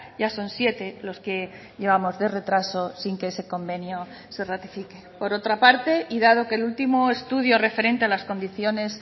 ya son siete los que llevamos de retraso sin que ese convenio se ratifique por otra parte y dado que el último estudio referente a las condiciones